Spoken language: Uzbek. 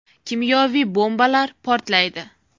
Kimyoviy bombalar portlaydi.